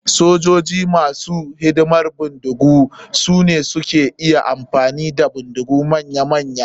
Sojoji masu hidiman bindigu sune suka iya amfani da bindigu manya manya.